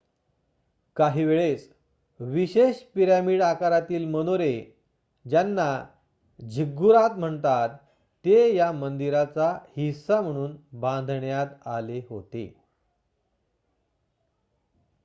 काहीवेळेस विशेष पिरॅमिड आकारातील मनोरे ज्यांना झिग्गुरात म्हणतात ते या मंदिरांचा हिस्सा म्हणून बांधण्यात आले होते